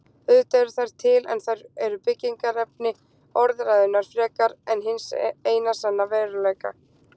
Auðvitað eru þær til en þær eru byggingarefni orðræðunnar frekar en hins eina sanna veruleika.